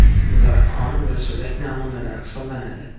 Bular qon va so‘lak namunalari hisoblanadi.